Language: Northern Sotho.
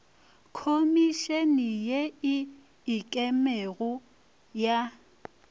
khomišene ye e ikemego ya